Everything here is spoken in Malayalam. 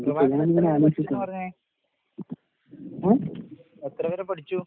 പറഞ്ഞേ. എത്രവരെ പഠിച്ചു?